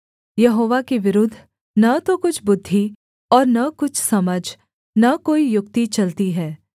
यहोवा के विरुद्ध न तो कुछ बुद्धि और न कुछ समझ न कोई युक्ति चलती है